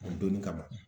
O donni kama